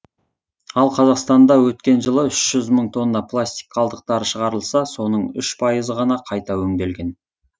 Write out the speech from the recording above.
ал қазақстанда өткен жылы үш жүз мың тонна пластик қалдықтары шығарылса соның үш пайызы ғана қайта өңделген